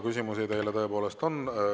Küsimusi teile tõepoolest on.